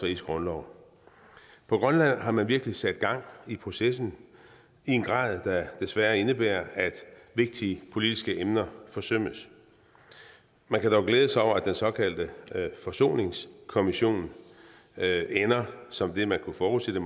riges grundlov på grønland har man virkelig sat gang i processen i en grad der desværre indebærer at vigtige politiske emner forsømmes man kan dog glæde sig over at den såkaldte forsoningskommission ender som det man kunne forudse den